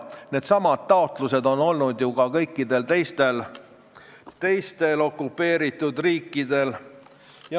Needsamad taotlused on olnud ka kõikidel teistel okupeeritud riikidel.